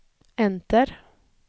enter